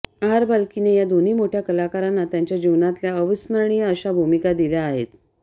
R बाल्कीने या दोन्ही मोठय़ा कलाकारांना त्यांच्या जीवनातल्या अविस्मरणीय अशा भूमिका दिल्या आहेत